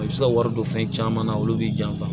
A bɛ se ka wari don fɛn caman na olu b'i janfa